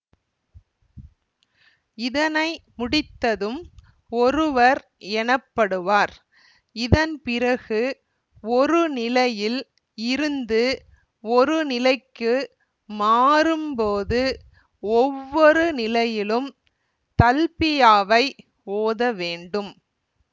இதனை முடித்ததும் ஒருவர் எனப்படுவார் இதன் பிறகு ஒரு நிலையில் இருந்து ஒரு நிலைக்கு மாறும் போது ஒவ்வொரு நிலையிலும் தல்பியாவை ஓதவேண்டும்